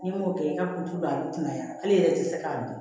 N'i m'o kɛ i ka kulu a bɛ kunnaya hali yɛrɛ tɛ se k'a dun